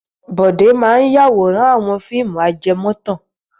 Bọ̀dé máa ń yáwòrán àwọn fíìmù ajẹmọ́tàn.